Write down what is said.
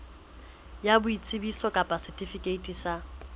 ya boitsebiso kapa setifikeiti sa